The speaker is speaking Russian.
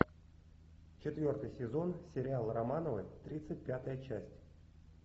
четвертый сезон сериал романовы тридцать пятая часть